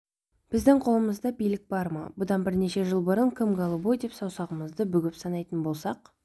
біздің қолымызда билік бар ма бұдан бірнеше жыл бұрын кім голубой деп саусағымызды бүгіп санайтын болсақ